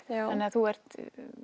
þannig að þú ert